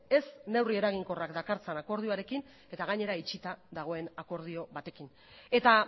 ez neurri eraginkorrak dakartzan akordioarekin eta gainera itxita dagoen akordio batekin eta